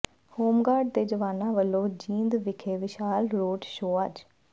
home guard ਦੇ ਜਵਾਨਾਂ ਵਲੋਂ ਜੀਂਦ ਵਿਖੇ ਵਿਸ਼ਾਲ ਰੋਡ ਸ਼ੋਅ ਅੱਜ